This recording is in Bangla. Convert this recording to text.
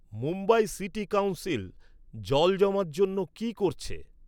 মুম্বাই সিটি কাউন্সিল, জল জমার জন্য কি করছে?